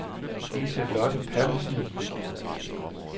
Liselotte Pallesen